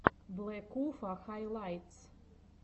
блэкуфа хайлайтс